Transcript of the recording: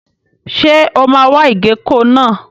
Ṣé o máa wa ìgéko náà?